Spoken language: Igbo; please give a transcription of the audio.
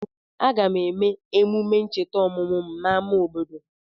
Aga m eme emume ncheta ọmụmụ m n'ámá obodo.